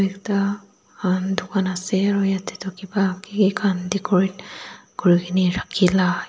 etu pann dukan ase aro yatae toh kipa kiki khan decorate kurikena ralhila--